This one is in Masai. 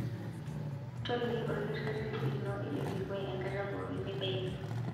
Toliki olkitarri lino ele kilikua enkata pookin nibaiki.